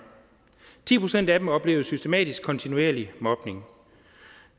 ti procent af dem oplevede systematisk og kontinuerlig mobning